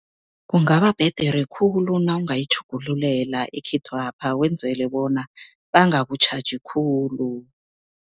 Kungaba bhedere khulu nawungayitjhugululela ekhethwapha, wenzele bona bangakutjhaji khulu.